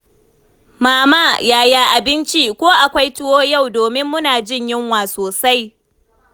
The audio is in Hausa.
Mama, yaya abinci? Ko akwai tuwo yau domin muna jin yunwa sosai?